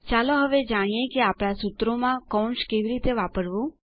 ચાલો હવે જાણીએ કે આપણા સૂત્રો માં કૌંસ કેવી રીતે વાપરવું